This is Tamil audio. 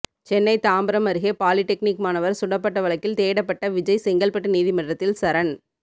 சென்னை தாம்பரம் அருகே பாலிடெக்னிக் மாணவர் சுடப்பட்ட வழக்கில் தேடப்பட்ட விஜய் செங்கல்பட்டு நீதிமன்றத்தில் சரண்